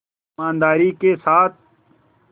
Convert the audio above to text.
ईमानदारी के साथ